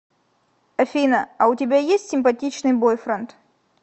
афина а у тебя есть симпатичный бойфренд